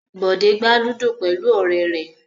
Bọ̀dé gbá ludo pẹ̀lú ọ̀rẹ́ rẹ̀.